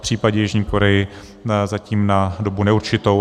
V případě Jižní Koreje zatím na dobu neurčitou.